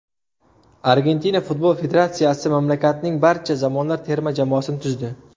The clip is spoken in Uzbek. Argentina futbol federatsiyasi mamlakatning barcha zamonlar terma jamoasini tuzdi.